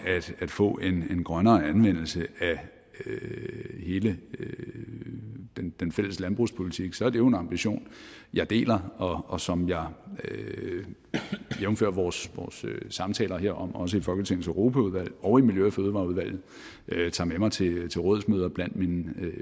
at få en grønnere anvendelse af hele den den fælles landbrugspolitik er det jo en ambition jeg deler og som jeg jævnfør vores samtaler herom også i folketingets europaudvalg og i miljø og fødevareudvalget tager med mig til til rådsmøder blandt mine